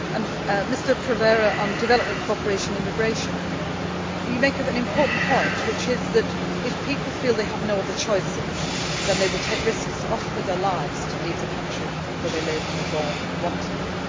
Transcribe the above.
Mr Provera, on development cooperation immigration, you make an important point, which is that, if people feel they have no other choices, then they will take risks, often with their lives, to leave the country where they live and were born and want to